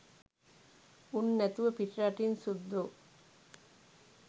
උන් නැතුව පිටරටින් සුද්දෝ